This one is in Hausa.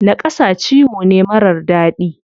Naƙasa ciwo ne marar daɗi.